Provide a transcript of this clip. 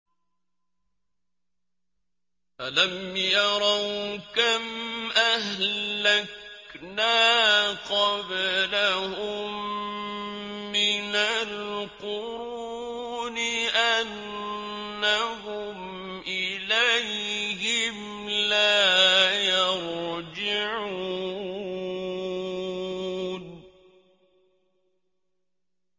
أَلَمْ يَرَوْا كَمْ أَهْلَكْنَا قَبْلَهُم مِّنَ الْقُرُونِ أَنَّهُمْ إِلَيْهِمْ لَا يَرْجِعُونَ